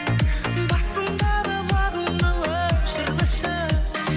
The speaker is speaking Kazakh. басыңдағы бағыңды өшірмеші